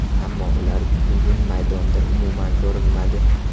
Ammo ular bugun maydonda umuman ko‘rinmadi.